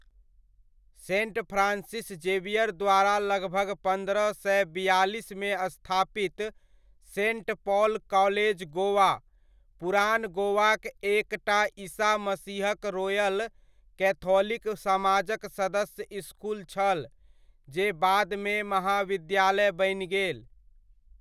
Sent Francis Xavier द्वारा लगभग पन्द्रह सय बियालिसमे स्थापित सेण्ट पॉल कॉलेज गोवा, पुरान गोवाक एक टा ईसा मसीहक रोयल केथोलिक समाजक सदस्य इसकुल छल, जे बादमे महाविद्यालय बनि गेल।